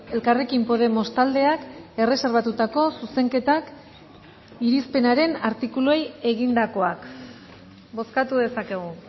elkarrekin podemos taldeak erreserbatutako zuzenketak irizpenaren artikuluei egindakoak bozkatu dezakegu